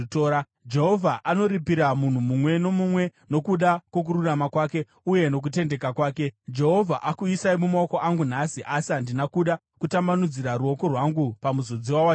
Jehovha anoripira munhu mumwe nomumwe nokuda kwokururama kwake uye nokutendeka kwake. Jehovha akuisai mumaoko angu nhasi, asi handina kuda kutambanudzira ruoko rwangu pamuzodziwa waJehovha.